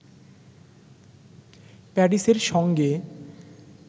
প্যারিসের সঙ্গে